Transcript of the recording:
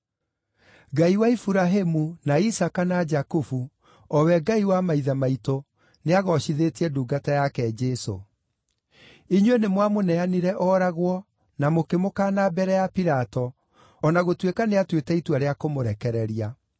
Ngai wa Iburahĩmu, na Isaaka na Jakubu, o we Ngai wa maithe maitũ, nĩagoocithĩtie ndungata yake Jesũ. Inyuĩ nĩmwamũneanire ooragwo, na mũkĩmũkaana mbere ya Pilato, o na gũtuĩka nĩatuĩte itua rĩa kũmũrekereria.